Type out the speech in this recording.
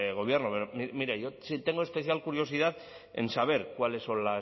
gobierno pero mire yo sí tengo especial curiosidad en saber cuáles son